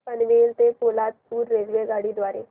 पनवेल ते पोलादपूर रेल्वेगाडी द्वारे